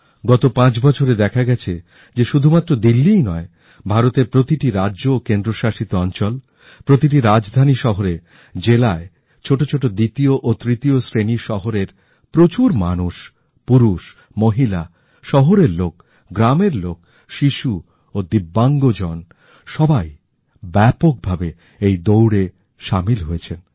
গতপাঁচ বছরে দেখা গেছে যে শুধুমাত্র দিল্লীই নয় ভারতের প্রতিটি রাজ্য ও কেন্দ্রশাসিত অঞ্চল প্রতিটি রাজধানী শহরে জেলায় ছোট ছোট দ্বিতীয় ও তৃতীয়শ্রেণীশহরের প্রচুর মানুষ পুরুষ মহিলা শিশু ও দিব্যাঙ্গজন এই দৌড়ে সামিল হয়েছেন